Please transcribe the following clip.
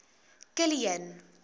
kilian